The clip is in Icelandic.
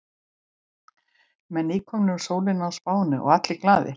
Menn nýkomnir úr sólinni á Spáni og allir glaðir.